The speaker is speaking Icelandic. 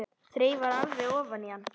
Þreifar alveg ofan í hann.